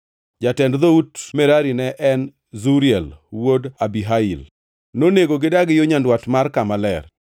Jatend dhout Merari ne en Zuriel wuod Abihail. Nonego gidagi yo nyandwat mar kama ler.